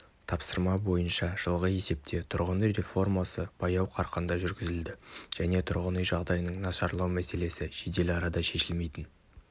тапсырма бойынша жылғы есепте тұрғын үй реформасы баяу қарқында жүргізілді және тұрғын үй жағдайының нашарлау мәселесі жедел арада шешілмейтін